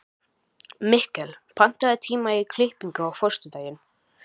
Mikkel, pantaðu tíma í klippingu á föstudaginn.